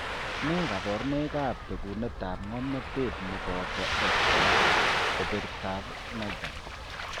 Nee kabarunoikab bekunetab ng'omnotet ne boto X, kebertab Najm.